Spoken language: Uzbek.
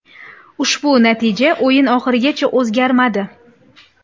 Ushbu natija o‘yin oxirigacha o‘zgarmadi.